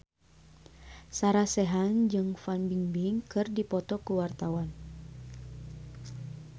Sarah Sechan jeung Fan Bingbing keur dipoto ku wartawan